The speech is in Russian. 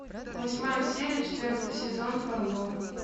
восьмая серия четвертый сезон фарго